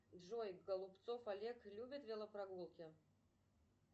джой голубцов олег любит велопрогулки